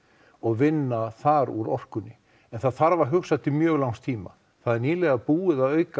og vinna þar úr orkunni en það þarf að hugsa til mjög langs tíma það er nýlega búið að auka